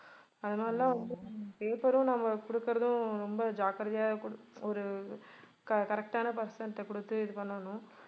அதனாலலாம் வந்து paper உம் நம்ம குடுக்கிறதும் ரொம்ப ஜாக்கிரதையா ஒரு corre~ correct ஆன person ட்ட குடுத்து இது பண்ணனும்